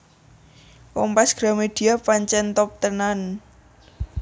Kompas Gramedia pancen top tenan